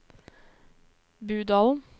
Budalen